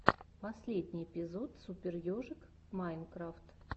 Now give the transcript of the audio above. последний эпизод супер ежик майнкрафт